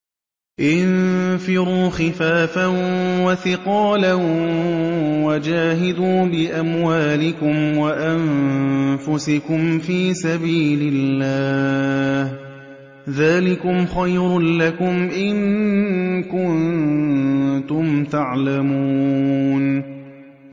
انفِرُوا خِفَافًا وَثِقَالًا وَجَاهِدُوا بِأَمْوَالِكُمْ وَأَنفُسِكُمْ فِي سَبِيلِ اللَّهِ ۚ ذَٰلِكُمْ خَيْرٌ لَّكُمْ إِن كُنتُمْ تَعْلَمُونَ